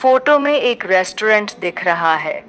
Photo में एक restaurant दिख रहा है।